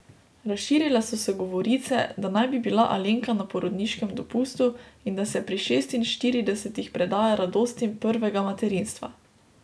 Razširile so se govorice, da naj bi bila Alenka na porodniškem dopustu in da se pri šestinštiridesetih predaja radostim prvega materinstva.